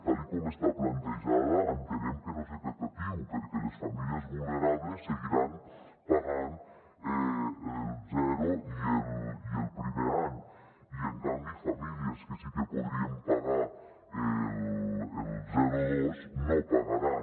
tal com està plantejada entenem que no és equi·tatiu perquè les famílies vulnerables seguiran pagant el zero i el primer any i en canvi famílies que sí que podrien pagar el zero·dos no pagaran